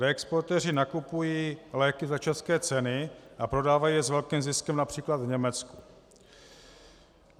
Reexportéři nakupují léky za české ceny a prodávají je s velkým ziskem například v Německu.